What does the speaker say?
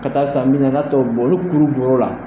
Ka taa san bi naani n'a t'o bɔ olu kuuru bɔr'o la